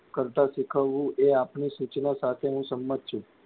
કરતાં શીખવવું એ આપની સૂચનાં સાથે હું સંમત છું.